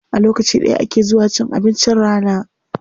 A lokaci ɗaya ake zuwa cin abincin rana.